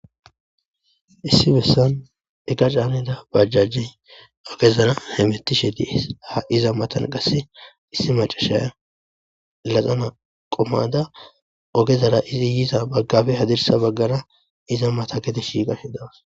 Issi bolla eqqa caanida bajjajey hametishshe dess issi macciya gaabe mayidda dawusu.